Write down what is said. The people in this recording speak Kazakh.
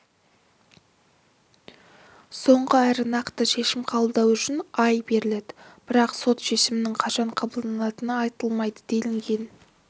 соңғы әрі нақты шешім қабылдау үшін ай беріледі бірақ сот шешімінің қашан қабылданатыны айтылмайды делінген